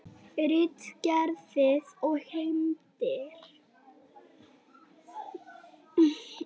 Femínískar kenningar tengjast pólitískri og heimspekilegri hugmyndafræði á margan og mismunandi hátt.